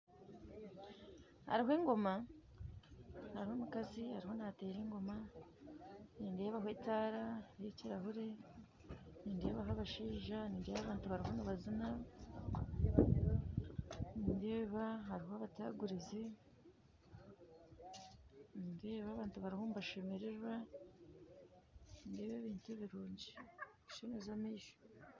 Haruho engoma haruho omukazi aruho nateera engoma nindebaho etaara y'ekirahuri nindeebaho abashaija nindeeba abantu baruho nibazina nindeeba haruho abataguruzi nindeeba abantu baruho nibashemererwa nindeeba ebintu birungi nibishemeza amaisho.